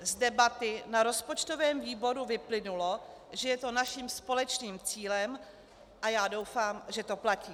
Z debaty na rozpočtovém výboru vyplynulo, že je to naším společným cílem, a já doufám, že to platí.